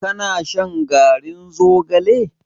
Ka na shan garin zogalen?